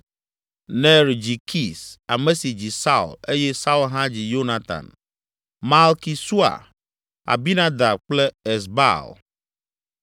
Ner dzi Kis, ame si dzi Saul eye Saul hã dzi Yonatan, Malki Sua, Abinadab kple Esbaal.